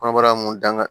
Kɔnɔbara mun danga